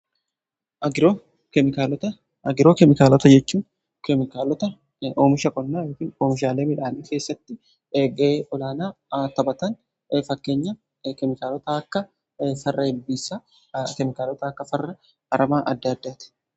Agiroo keemikaalota jechuun keemikaalota oomishaalee midhaanii keessatti ga'ee olaanaa taphatan fakkeenya keemikaalota akka farra ilbiissa, keemikaalota akka farra aramaa adda addaati.